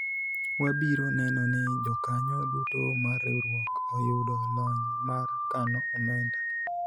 wabiro neno ni jokanyo duto mar riwruok oyudo lony mar kano omenda